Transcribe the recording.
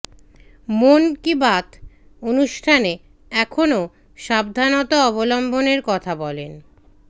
মন কি বাত অনুষ্ঠানে এখনও সাবধানতা অবলম্বনের কথা বলেন